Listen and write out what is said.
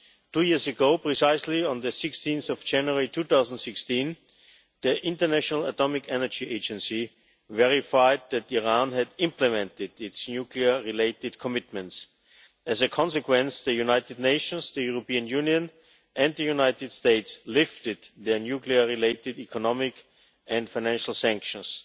Two years ago precisely, on 16 January 2016, the International Atomic Energy Agency verified that Iran had implemented its nuclear-related commitments. As a consequence, the United Nations, the European Union and the United States lifted their nuclear related economic and financial sanctions.